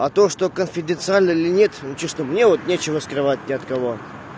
а то что конфиденциально или нет нечестно мне вот ничего скрывать не от кого